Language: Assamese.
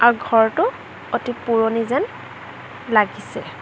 আৰু ঘৰটো অতি পুৰণি যেন লাগিছে।